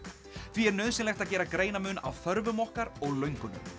því er nauðsynlegt að gera greinarmun á þörfum okkar og löngunum